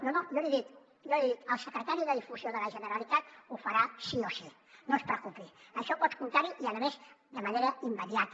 no no jo l’hi dic el secretari de difusió de la generalitat ho farà sí o sí no es preocupi en això pot comptar hi i a més de manera immediata